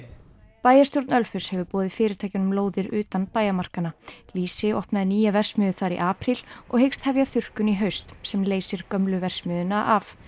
bæjarstjórn Ölfuss hefur boðið fyrirtækjunum lóðir utan bæjarmarkanna lýsi opnaði nýja verksmiðju þar í apríl og hyggst hefja þurrkun í haust sem leysir gömlu verksmiðjuna af